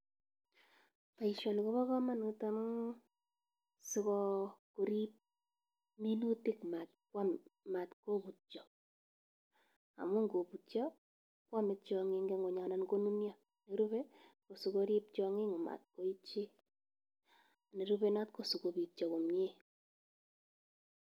Boisioni kobo komonut amun sikorib minutik matkobutyo, amun kotko butyo koame tiong'ik en ngweny anan konunyo. Nerube asikorip tiong'ik amat koityi. Nerupe noto kosigobityo komye.